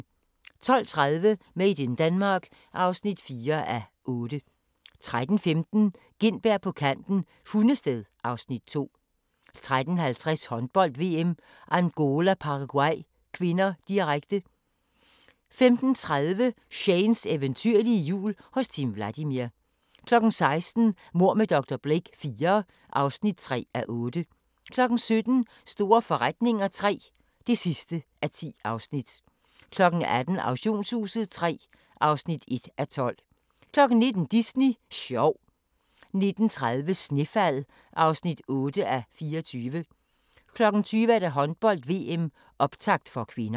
12:30: Made in Denmark (4:8) 13:15: Gintberg på kanten - Hundested (Afs. 2) 13:50: Håndbold: VM - Angola-Paraguay (k), direkte 15:30: Shanes eventyrlige jul hos Timm Vladimir 16:00: Mord med dr. Blake IV (3:8) 17:00: Store forretninger III (10:10) 18:00: Auktionshuset III (1:12) 19:00: Disney sjov 19:30: Snefald (8:24) 20:00: Håndbold: VM - optakt (k)